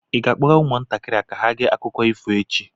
Ị ga-akpọga ụmụntakịrị ka ha gee akụkọ ifo echi?